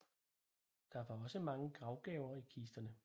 Der var også mange gravgaver i kisterne